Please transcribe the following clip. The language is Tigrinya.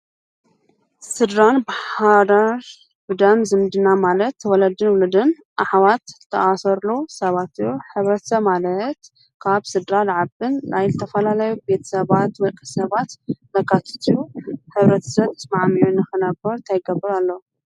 ሥድራን ብሃዳድ ብዳም ዝምድና ማለት ተወለድን ፣ውሉድን ፣ኣኅዋት ተኣሰሉ ሰባት ሕብረተ ማለት ካብ ሥድራ ዓብን ላይ ል ተፈላላዩ ቤት ሰባት ወልቂ ሰባት መካትት ሕብረትሰት መዓሚዮን ኽነበሩ ተይገብር ኣሎ?